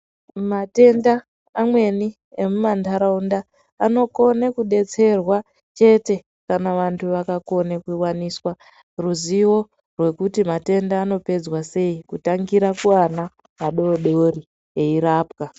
Matenda amweni emumandarawunda anokone kudetserwa chete , kana vantu vakakone kuwaniswa ruzivo rwekuti matenda anopedzwa sei, kutangira kuvana vadodori veyirapwa.